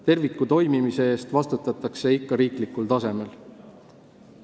Terviku toimimise eest vastutatakse ikka riiklikul tasemel.